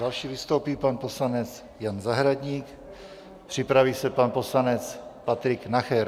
Další vystoupí pan poslanec Jan Zahradník, připraví se pan poslanec Patrik Nacher.